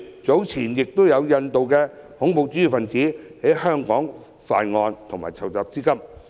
早前有印度的恐怖主義分子在香港犯案及籌集資金，正是一例。